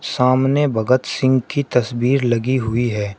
सामने भगत सिंह की तस्वीर लगी हुई है।